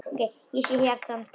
Ég sé hjarta hans stækka.